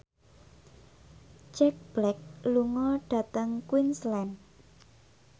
Jack Black lunga dhateng Queensland